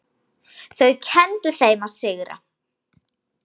Þau kenndu þeim að sigra.